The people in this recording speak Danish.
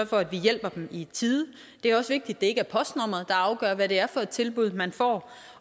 for at vi hjælper dem i tide det er også vigtigt at det ikke er postnummeret der afgør hvad det er for et tilbud man får